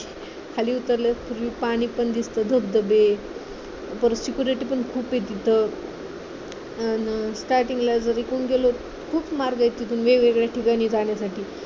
खाली उतरल्यास हिरवी पाने पण दिसतात धबधबे परत security पण खूप आहे तिथं अन starting ला जरी कोण गेलं खूप मार्ग आहेत तिथून वेगवेगळ्या ठिकाणी जाण्यासाठी